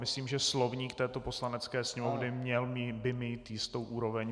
Myslím, že slovník této Poslanecké sněmovny by měl mít jistou úroveň.